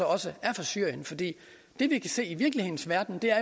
også er fra syrien for det vi kan se i virkelighedens verden er